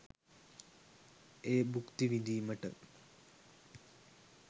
එය භුක්ති විදීමට?